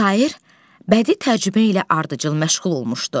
Şair bədi tərcümə ilə ardıcıl məşğul olmuşdu.